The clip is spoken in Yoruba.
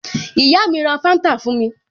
Ìyá mi ra Fanta fún mi